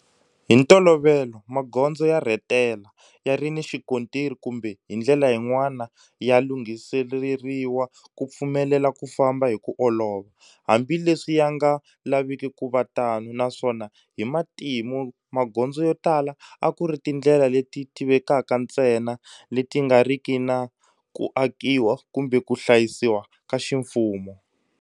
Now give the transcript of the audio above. Hi ntolovelo magondzo ya rhetela, ya ri ni xikontiri kumbe hi ndlela yin'wana ya lunghiseleriwa ku pfumelela ku famba hi ku olova, hambi leswi ya nga laviki ku va tano, naswona hi matimu magondzo yo tala a ku ri tindlela leti tivekaka ntsena leti nga riki na ku akiwa kumbe ku hlayisiwa ka ximfumo.